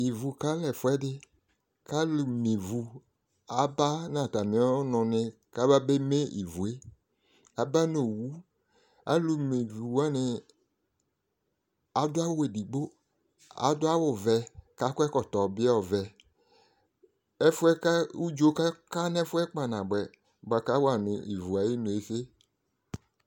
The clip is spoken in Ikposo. ivu kalɛ ɛfu ɛdi k'alò me ivu aba no atami ɔnò ni kaba be me ivu yɛ aba no owu alò me ivu wani adu awu edigbo adu awu vɛ k'akɔ ɛkɔtɔ bi ɔvɛ ɛfu yɛ kò udzo ka ka n'ɛfu yɛ kpa naboɛ boa k'awa no ivu ayinu ese